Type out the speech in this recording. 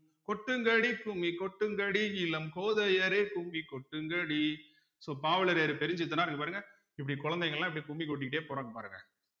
கொட்டுங்கடி கும்மி கொட்டுங்கடி இளம் கோதையரே கும்மி கொட்டுங்கடி so பாவலரேறு பெருஞ்சித்தனார் இங்க பாருங்க இப்படி குழந்தைங்கல்லாம் இப்படி கும்மி கொட்டிக்கிட்டே போறாங்க பாருங்க